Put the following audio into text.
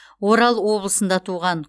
орал облысында туған